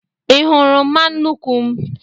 Ị hụrụmma nnuku m?